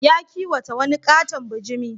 Ya kiwata wani ƙaton bajimi.